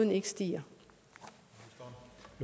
vi ser